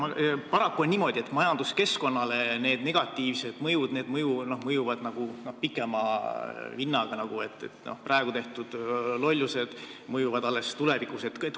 Paraku on niimoodi, et majanduskeskkonnale mõjuvad need negatiivsed asjad nagu pikema vinnaga, praegu tehtud lollused mõjuvad alles tulevikus.